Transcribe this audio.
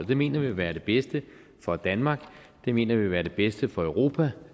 det mener vi vil være det bedste for danmark det mener vi vil være det bedste for europa